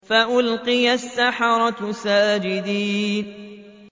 فَأُلْقِيَ السَّحَرَةُ سَاجِدِينَ